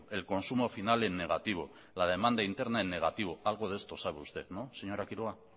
el consumo final en negativo la demanda interna en negativo algo de esto sabe usted no señora quiroga